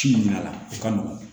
Ci minnu nana o ka nɔgɔn